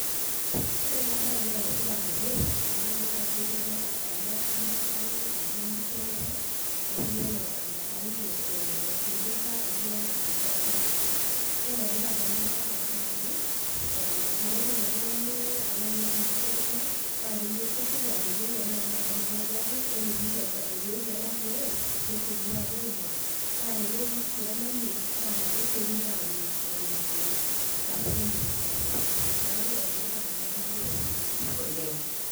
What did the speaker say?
Orena baye neenetipat oleng' amu keitodolu ajo ketii ele aramatani atua nkishu enyenak, etiu enaa enabaunye eeh enteipa etii olosinko aitirring'a. Enetipat enabaye tengaraki eeh tenejing' oltung'ani aloaing'orr inkishu enyenak naake, kesioki ayiolou tenaaketabautwa pooki ore peeituebau, peetii enatiooyo nesiokini aapuoaing'oru naa tenetii sii enamuoi naa kesiokini audd eton eitu esapuku emuoyian tiatua osesen neaku enetipat enabaye oleng' oleng'.